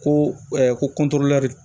Ko ko